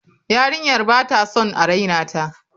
Yarinyar ba ta son a raina ta.